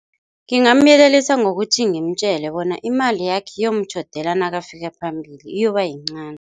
Ngingamyelelisa ngokuthi ngimtjele bona imali yakhe iyomtjhodela nakafika phambili iyobayincani.